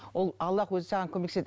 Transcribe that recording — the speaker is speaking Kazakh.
ол аллах өзі саған көмектеседі